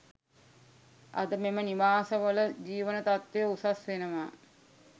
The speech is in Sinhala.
අද මෙම නිවාස වල ජීවන තත්ත්වය උසස් වෙනවා